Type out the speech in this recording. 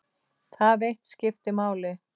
Það eitt skipti máli.